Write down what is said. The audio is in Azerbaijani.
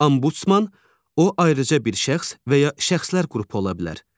Ambudsman o, ayrıca bir şəxs və ya şəxslər qrupu ola bilər.